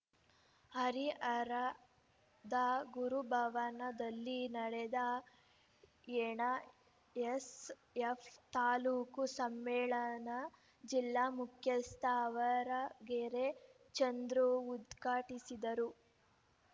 ಹರಿಹರದ ಗುರುಭವನದಲ್ಲಿ ನಡೆದ ಎನ ಎಸ್‌ಎಫ್‌ ತಾಲೂಕು ಸಮ್ಮೇಳನ ಜಿಲ್ಲಾ ಮುಖ್ಯಸ್ಥ ಆವರಗೆರೆ ಚಂದ್ರು ಉದ್ಘಾಟಿಸಿದರು